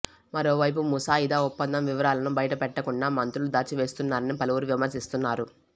మరోవైపు ముసాయిదా ఒప్పందం వివరాలను బయటపెట్టకుండా మంత్రులు దాచివేస్తున్నారని పలువురు విమర్శిస్తున్నారు